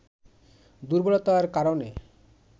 দুর্বলতার কারণে